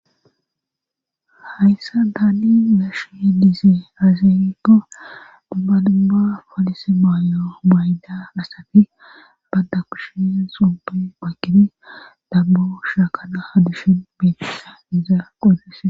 hayssa daadi nashi heddisi aziikko dubbadubba falise maayo mayda asafi badda kushin supe pakkini dabbo shaakana hadushin biitissa izaa qodese